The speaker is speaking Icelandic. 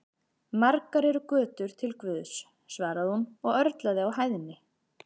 Margar eru götur til Guðs, svaraði hún og örlaði á hæðni.